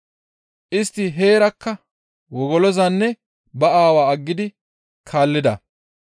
istti heerakka wogolozanne ba aawaa aggidi iza kaallida.